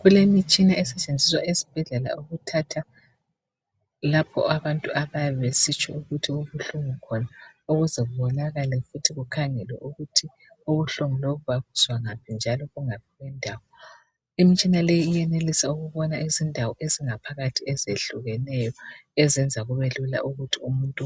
Kulemitshina esetshenziswa esibhedlela ukuthatha lapho abantu abayabe besitsho ukuthi kubuhlungu khona ukuze kubonakale ukuthi kukhangelwe ukuthi ubuhlungu lobu babuzwa ngaphi njalo bungaphi kwendawo. Imitshina leyi iyenelisa ukubona izindawo ezingaphakathi ezehlukeneyo ezenza kubelula ukuthi umuntu